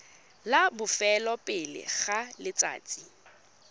la bofelo pele ga letsatsi